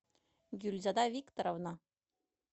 гюльзада викторовна